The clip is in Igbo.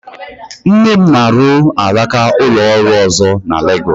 Nne m na-arụ alaka ụlọ ọrụ ọzọ na Legọs